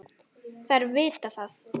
Þær viti það.